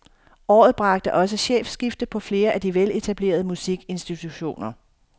Året bragte også chefskifte på flere af de veletablerede musikinstitutioner.